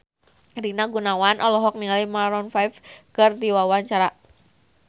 Rina Gunawan olohok ningali Maroon 5 keur diwawancara